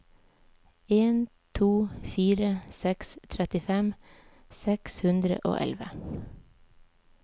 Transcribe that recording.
en to fire seks trettifem seks hundre og elleve